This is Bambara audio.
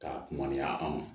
K'a mɔn anw ma